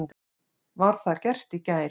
Var það gert í gær.